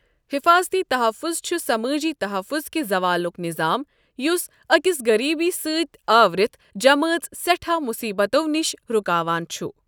حفاظتی تحفُظ چھُ سمٲجی تحفُظ كہِ زوالُك نِظام یُس أكِس غریبی سٕتۍ آورِتھ جمٲژ سیٚٹھاہ مُصیبتو نِشہِ رُكاوان چھُ ۔